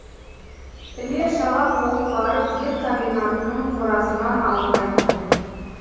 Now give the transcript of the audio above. іле шала қуып барып ет комбинатының қорасынан алып қайттым